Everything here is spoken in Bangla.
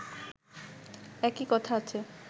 একই কথা আছে